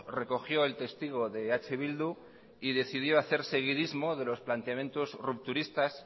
recogió el testigo de eh bildu y decidió hacer seguidismo de los planteamientos rupturistas